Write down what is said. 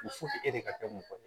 e de ka kɛ mɔgɔ ye